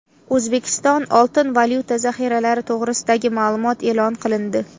O‘zbekiston oltin-valyuta zaxiralari to‘g‘risidagi ma’lumot e’lon qilindi.